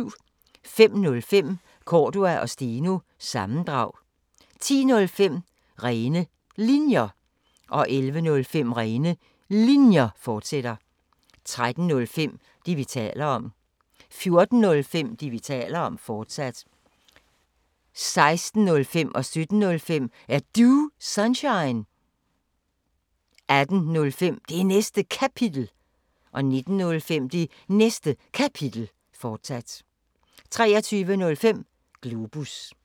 05:05: Cordua & Steno – sammendrag 10:05: Rene Linjer 11:05: Rene Linjer, fortsat 13:05: Det, vi taler om 14:05: Det, vi taler om, fortsat 16:05: Er Du Sunshine? 17:05: Er Du Sunshine? 18:05: Det Næste Kapitel 19:05: Det Næste Kapitel, fortsat 23:05: Globus